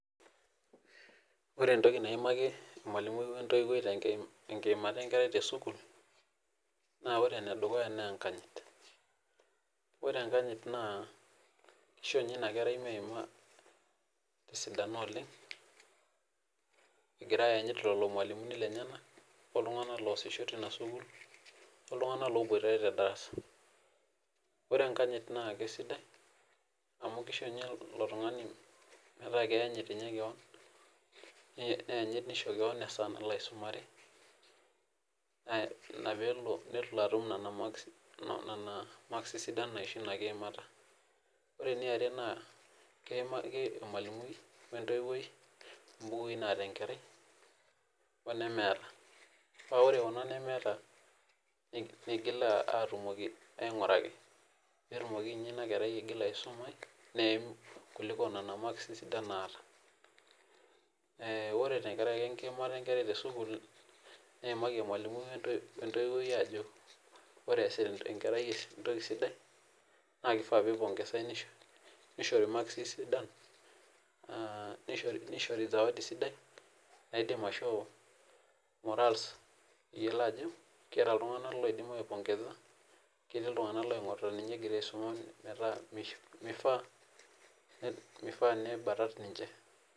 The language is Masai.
Ore entoki naimaki emalumui wentoiwoi tenkiimata enkerai te sukuul, naa ore ene dukuya naa enkanyit. Ore enkanyit naa keisho ninye inakerai meima te sidano oleng egira aanyit lelo irmwalimuni lenyena oltungana loasisho teina sukuul, oltungana loobuata toldarasa, ore enkanyit naa kesidai amu keisho ninyeilo tungani metaa keanyit ninye keon, neanyit neisho yook laisomore, ina peelo nelo atum nena maksi sidan naisho ina kiimata. Ore neare naa keimaaki ilmalumui wentoiwoi imbukui naata enkerai olemeeta, paa ore kuna nemeeta neigil aatumoki, ainguraki, peetumoki ninye ina kerai aigila aisumai neim kuliko nena maksi naata. Ore inakerai enkiimata enkerai te sukuul, neimaki ilmalumui wentoiwoi aajo ore sii enkerai alde naa keifaa peipongesai, neishoti maksi sidan neishori sawadi sidai, naidim aishoo morals peyiolou ajo keata iltungana loidim aipongesa, ketii iltungana loing'orita ninye egira aisuma metaa meifaaa neibata ninche.